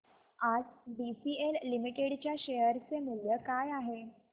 आज BCL limited च्या share चे मूल्य काय आहे